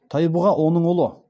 тайбұға оның ұлы